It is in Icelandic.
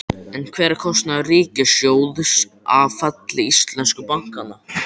En hver er kostnaður ríkissjóðs af falli íslensku bankanna?